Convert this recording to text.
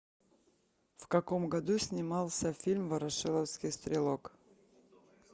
в каком году снимался фильм ворошиловский стрелок